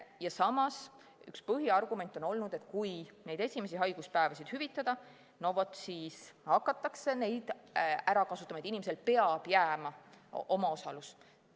Ja samas, üks põhiargument on olnud, et kui neid esimesi haiguspäevi hüvitada, siis hakatakse seda ära kasutama, et inimesele peab jääma omaosalus.